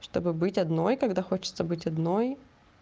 чтобы быть одной когда хочется быть одной